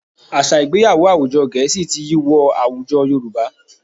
Àṣà Ìgbéyàwó àwùjọ Gẹ̀ẹ́sì ti yí wọ àwùkọ Yorùbá